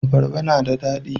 abarba na da dadi